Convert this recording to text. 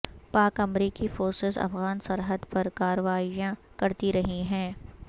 پاک امریکی فورسز افغان سرحد پر کارروائیاں کرتی رہی ہیں